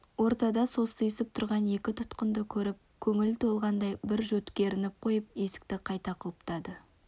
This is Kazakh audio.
ортада состиысып тұрған екі тұтқынды көріп көңілі толғандай бір жөткірініп қойып есікті қайта құлыптады